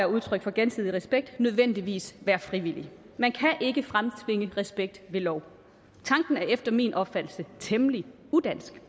udtryk på gensidig respekt nødvendigvis være frivillig man kan ikke fremtvinge respekt ved lov tanken er efter min opfattelse temmelig udansk